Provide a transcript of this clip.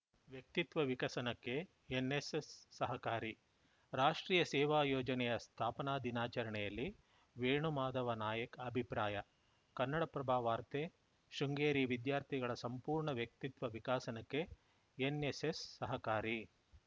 ವ್ಯಕ್ತಿತ್ವ ವಿಕಸನಕ್ಕೆ ಎನ್‌ಎಸ್‌ಎಸ್‌ ಸಹಕಾರಿ ರಾಷ್ಟ್ರೀಯ ಸೇವಾ ಯೋಜನೆಯ ಸ್ಥಾಪನಾ ದಿನಾಚರಣೆಯಲ್ಲಿ ವೇಣು ಮಾಧವ ನಾಯಕ್‌ ಅಭಿಪ್ರಾಯ ಕನ್ನಡಪ್ರಭ ವಾರ್ತೆ ಶೃಂಗೇರಿ ವಿದ್ಯಾರ್ಥಿಗಳ ಸಂಪೂರ್ಣ ವ್ಯಕ್ತಿತ್ವ ವಿಕಸನಕ್ಕೆ ಎನ್‌ಎಸ್‌ಎಸ್‌ ಸಹಕಾರಿ